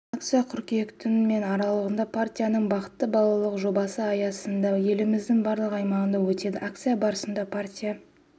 акция қыркүйектің мен аралығында партияның бақытты балалық жобасы аясында еліміздің барлық аймағында өтеді акция барысында партия